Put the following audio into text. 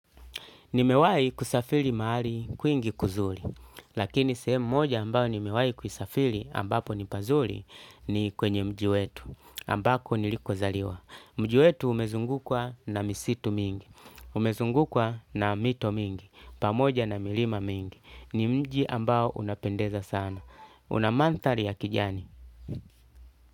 Nimewahi kusafiri mahali kwingi kuzuri, lakini sehemu moja ambao nimewai kusafiri ambapo nipazuri ni kwenye mji wetu ambako niliko zaliwa. Mji wetu umezungukwa na misitu mingi, umezungukwa na mito mingi, pamoja na milima mingi. Ni mji ambao unapendeza sana. Kuna manthari ya kijani.